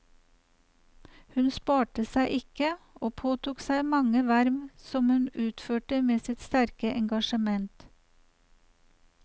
Hun sparte seg ikke, og påtok seg mange verv som hun utførte med sitt sterke engasjement.